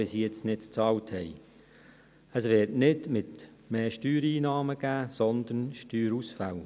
Es wird nicht mehr Steuereinnahmen geben, sondern sogar Steuerausfälle.